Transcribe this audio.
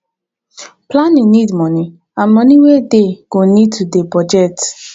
planning need moni and moni wey dey go need to dey budget